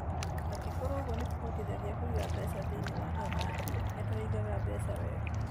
Angĩkorũo ũguo nĩ kũhotithagia kũiga mbeca thĩinĩ wa athaki - nĩ tũrĩigaga mbeca wega.